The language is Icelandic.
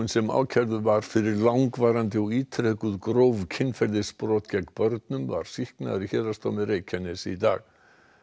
sem ákærður var fyrir langvarandi og ítrekuð gróf kynferðisbrot gegn börnum var sýknaður í héraðsdómi Reykjaness í dag